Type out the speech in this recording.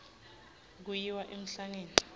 kuyiwa emhlangeni